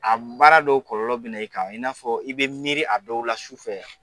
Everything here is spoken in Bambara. A baara dɔw kɔlɔlɔ bi na i kan, i n'a fɔ i be miiri a dɔw la sufɛ.